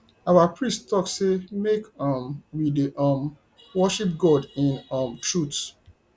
our priest talk say make um we dey um worship god in um truth